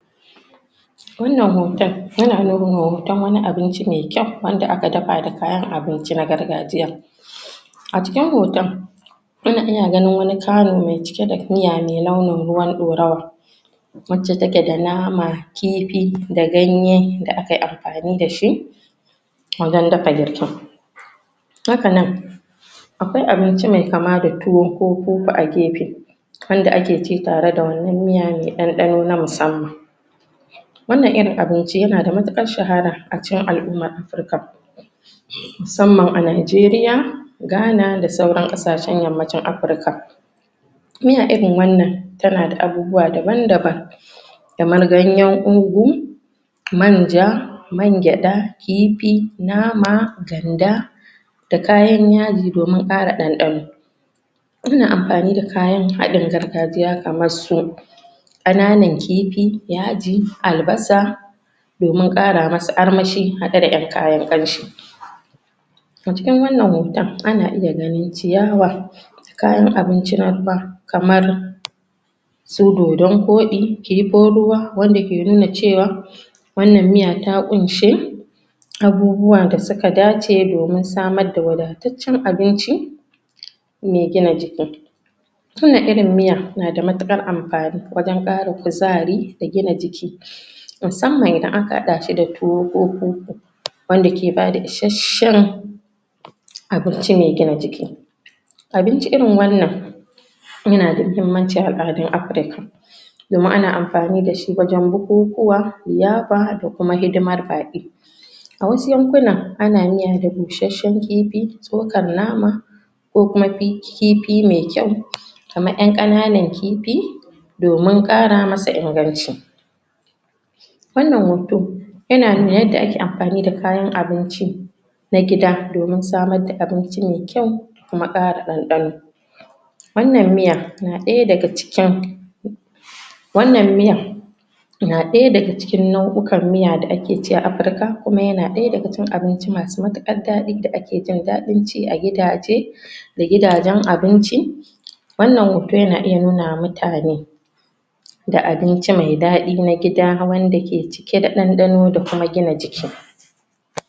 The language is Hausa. wannan hoton yana nuna hoton wani abinci maikyau wanda aka dafa da kayan abinci na gargajiya acikin hoton ina ganin karin mai cike da miya mai launin ruwan ɗorawa wacce take da nama kifi da ganye da akayi amfani dashi wajen dafa girkin haka nan akwai abinci mai kama da tuwo ko koko a gefe wanda ake ci da wannan miya mai ɗanɗano na musamman wannan irin abinci yana da matuqar shahara acikin al'ummar afrika musamman a nijeria gana da sauran ƙasashen yammacin afrika miya irin wannan tana da abubuwa daban daban kamar ganyen ogun manja mangyada kifi nama ganda da kayan yaji domin ƙara dandano ina amfani da kayan hadin gargajiya kamar su ƙananan kifi yaji albasa domin ƙara masa armashi hade da kayan kamshi acikin wannan hoton ana iya ganin ciyawa kayan abinci na ruwa kamar su dodon koɗi kifin ruwa wanda ke nuna cewa wannan miya ta kunshe abubuwa da suka dace domin samar da wadataccen abinci mai gina jiki kalan irin miyan na da matukar amfani wajen ƙara kuzari da gina jiki musamman aha hada shi tuwo ko kum wanda ke bada isashen abinci mai gina jiki abinci irin wannan yana da muhimmanci a al'adun afrika domin ana amfani da wajen bukukuwa, liyafa da kuma hidimar baƙi a wasu yankuna a miyar da busashen kifi tsokar nama ko kuma kifi mai kyau kamar yan ƙananan kifi domin ƙara masa inganci wannan hoton yana nuna yadda ake amfani da kayan abici na gida domin samar da abinci maikyau da ku bada ɗanɗano wannan miya na ɗaya daga cikin wannan miya na ɗaya daga cikin nau'ukan miya da ake ci a afrika kuma yana ɗaya daga cikin abinci masu matukar daɗi da ake jin daɗin ci agidaje da gidajen abinci wannan hoton na iya nuna wa mutane da abinci mai daɗi na gida wanda cike da ɗanɗano da kuma gina jiki